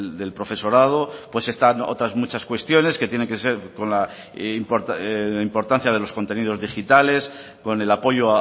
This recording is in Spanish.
del profesorado pues están otras muchas cuestiones que tienen que ser con la importancia de los contenidos digitales con el apoyo